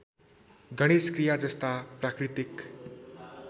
गणेशक्रिया जस्ता प्राकृतिक